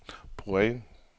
point